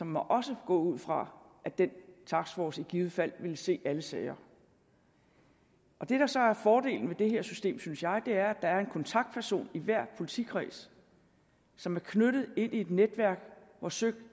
må også gå ud fra at den taskforce i givet fald ville se alle sager det der så er fordelen ved det her system synes jeg er der er en kontaktperson i hver politikreds som er knyttet til et netværk hvor søik